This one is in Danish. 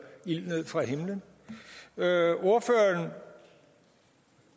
ild ned fra himlen ordføreren